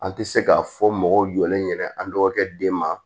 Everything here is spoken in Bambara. An tɛ se k'a fɔ mɔgɔw jɔlen ɲɛna an dɔgɔkɛ den ma